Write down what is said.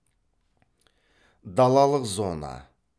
далалық зона